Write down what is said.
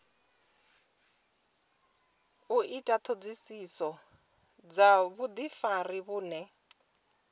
ita ṱhoḓisiso dza vhuḓifari vhune